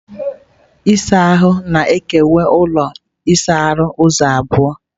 Ihe mkpuchi ịsa ahụ na-ekewa ụlọ ịsa ahụ ụzọ abụọ.